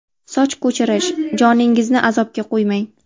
Soch ko‘chirish – joningizni azobga qo‘ymang!.